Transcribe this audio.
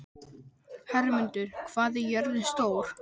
Hermundur, hvað er jörðin stór?